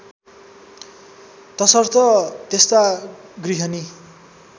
तसर्थ त्यस्ता गृहिणी